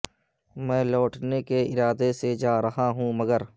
میں لوٹنے کے ارادے سے جا رہا ہوں مگر